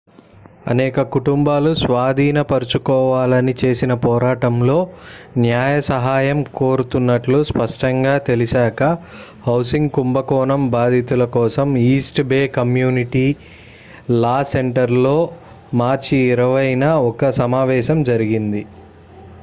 అనేక కుటుంబాలు స్వాధీనపరచుకోవాలని చేసిన పోరాటంలో న్యాయ సహాయం కోరుతున్నట్లు స్పష్టంగా తెలిసాకా హౌసింగ్ కుంభకోణం బాధితుల కోసం East Bay Community Law Center లో మార్చి 20న ఒక సమావేశం జరిగింది